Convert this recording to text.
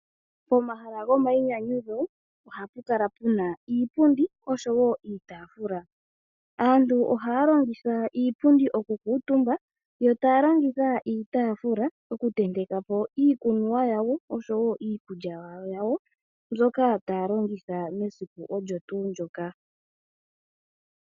Pomahala gomayinyanyudho ohapu kala pu na iipundi osho wo iitaafula. Aantu ohaya longitha iipundi okukuutumba yo taya longitha iitaafula okutenteka po iikunwa yawo osho wo iikulya yawo mbyoka taya longitha mesiku olyo tuu ndyoka.